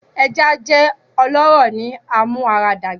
Eja jẹ ọlọrọ ni amuaradagba